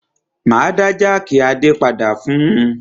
Máa dá jákì Adé padà fún un.